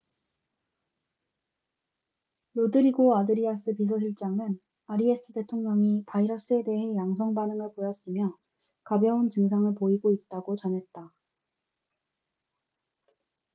로드리고 아드리아스 비서실장은 아리아스 대통령이 바이러스에 대해 양성 반응을 보였으며 가벼운 증상을 보이고 있다고 전했다